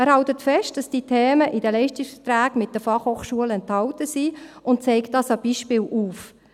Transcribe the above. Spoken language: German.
Er hält fest, dass diese Themen in den Leistungsverträgen mit den Fachhochschulen enthalten sind, und zeigt das an Beispielen auf.